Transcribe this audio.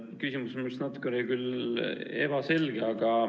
Küsimus oli minu meelest küll natukene ebaselge.